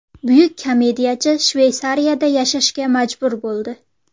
Buyuk komediyachi Shveysariyada yashashga majbur bo‘ldi.